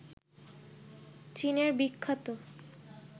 চীনের বিখ্যাত